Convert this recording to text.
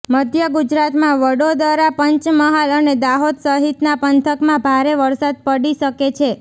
મધ્ય ગુજરાતમાં વડોદરા પંચમહાલ અને દાહોદ સહિતના પંથકમાં ભારે વરસાદ પડી શકે છે